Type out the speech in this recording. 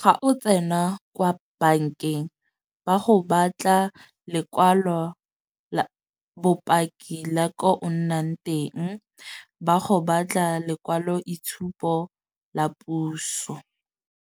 ga o tsena kwa bankeng ba go batla lekwalo la bopaki la ko o nnang teng. Ba go batla lekwalo itshupo la puso.